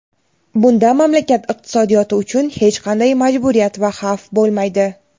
bunda mamlakat iqtisodiyoti uchun hech qanday majburiyat va xavf bo‘lmaydi.